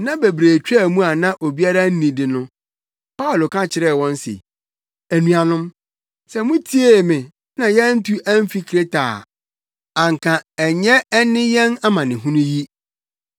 Nna bebree twaa mu a na obiara nnidi no, Paulo ka kyerɛɛ wɔn se, “Anuanom, sɛ mutiee me na yɛantu amfi Kreta a anka ɛnyɛ ɛne yɛn amanehunu yi.